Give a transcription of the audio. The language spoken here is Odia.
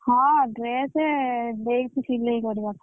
ହଁ dress ଦେଇଛି ସିଲେଇ କରିବାକୁ।